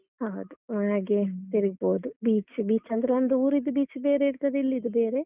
ಹೌದು. ಹಾಗೆ ತಿರುಗ್ಬೋದು. beach beach , ಅಂದ್ರೆ ಒಂದು ಊರಿದ್ದು beach ಬೇರೆಯೇ ಇರ್ತದೆ, ಇಲ್ಲಿದು ಬೇರೆ.